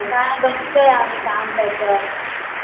नाय बघतोय आम्ही काम त्याच